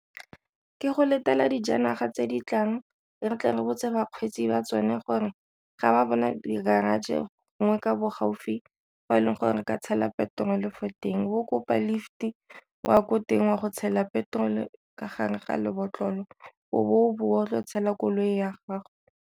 Ke go letela dijanaga tse di tlang re tle re botse bakgweetsi ba tsone gore ga ba bona di-garage gongwe ka bo gaufi go e leng gore ka tshela petrol fo teng, o kopa lift o ya ko teng wa go tshela petrol ka gare ga lebotlolo o bowa o tlo tshela koloi ya gago.